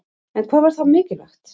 En hvað var þá mikilvægt?